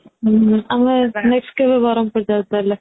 ହୁଁ ଆମେ next କେବେ ବ୍ରହ୍ମପୁର ଯାଉଛେ ତାହାଲେ